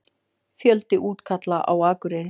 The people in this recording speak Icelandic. Fjöldi útkalla á Akureyri